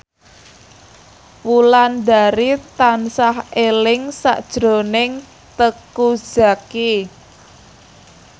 Wulandari tansah eling sakjroning Teuku Zacky